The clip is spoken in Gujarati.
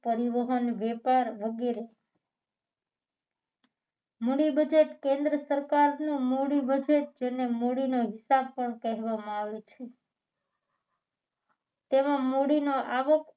પરિવહન વ્યાપાર વગેરે money budget કેન્દ્ર સરકારનું મૂડી budget જેને મૂડીનો હિસાબ પણ કહેવામાં આવે છે જેમાં મૂડીનો આવો